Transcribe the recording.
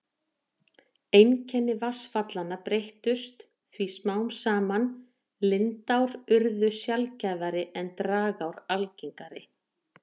Einkenni vatnsfallanna breyttust því smám saman, lindár urðu sjaldgæfari en dragár algengari.